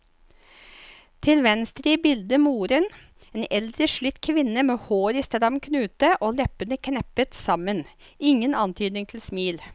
Til venstre i bildet moren, en eldre slitt kvinne med håret i stram knute og leppene knepet sammen, ingen antydning til smil.